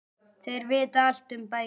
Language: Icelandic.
Þeir vita allt um bækur.